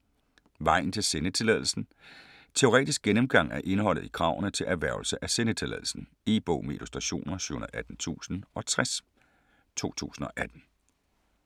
Vejen til sendetilladelsen Teoretisk gennemgang af indholdet i kravene til erhvervelse af sendetilladelsen. E-bog med illustrationer 718060 2018.